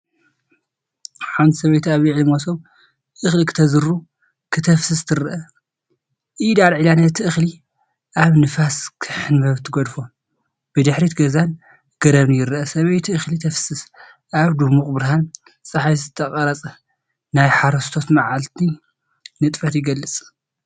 ሓንቲ ሰበይቲ ኣብ ልዕሊ መሶብ እኽሊ ክተዝሩ/ ከተፍስስ ትርአ። ኢዳ ኣልዒላ ነቲ እኽሊ ኣብ ንፋስ ክሕንበብ ትገድፎ። ብድሕሪት ገዛን ገረብን ይርአ። ሰበይቲ እኽሊ ተፍስስ፤ ኣብ ድሙቕ ብርሃን ጸሓይ ዝተቐርጸ ናይ ሓረስቶት መዓልቲ ንጥፈት ይገልፅ።